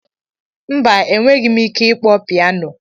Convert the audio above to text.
Mba, enweghị m ike ịkpọ pianọ.